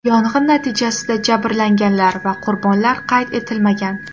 Yong‘in natijasida jabrlanganlar va qurbonlar qayd etilmagan.